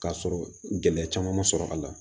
K'a sɔrɔ gɛlɛya caman ma sɔrɔ a la